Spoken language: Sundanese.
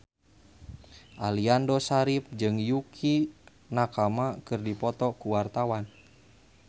Aliando Syarif jeung Yukie Nakama keur dipoto ku wartawan